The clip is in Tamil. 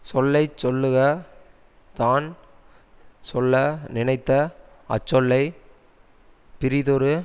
சொல்லை சொல்லுக தான் சொல்ல நினைத்த அச்சொல்லைப் பிறிதொரு